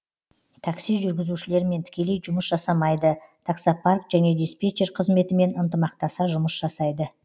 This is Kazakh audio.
такси жүргізушілермен тікелей жұмыс жасамайды таксопарк және диспетчер қызметімен ынтымақтаса жұмыс жасайды